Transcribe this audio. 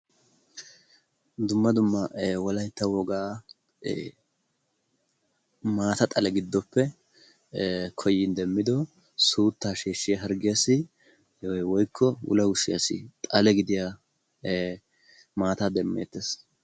Dumma dumma wolaytta woga maata xale giddoppe koyyidi demmido suuttaa sheshshiya harggiyassi woykko wulawushshiyassi xale gidiyaa maata demeettees.